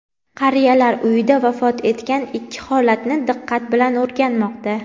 qariyalar uyida vafot etgan ikki holatni diqqat bilan o‘rganmoqda.